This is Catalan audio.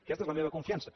aquesta és la meva confiança